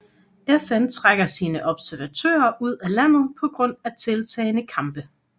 FN trækker sine observatører ud af landet på grund af tiltagende kampe